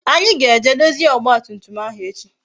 Anyi ga-eje dozie ọgba tum tum ahụ echi